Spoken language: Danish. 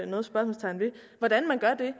noget spørgsmålstegn ved hvordan man gør det